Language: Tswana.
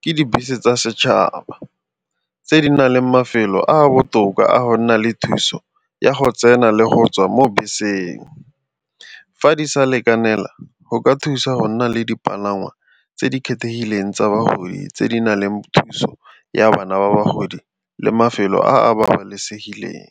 ke dibese tsa setšhaba tse di nang le mafelo a a botoka a go nna le thuso ya go tsena le go tswa mo beseng. Fa di sa lekanela go ka thusa go nna le dipalangwa tse di kgethegileng tsa bagodi tse di na leng thuso ya bana ba bagodi le mafelo a a babalesegileng.